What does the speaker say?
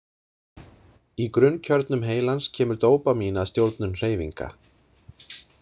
Í grunnkjörnum heilans kemur dópamín að stjórnun hreyfinga.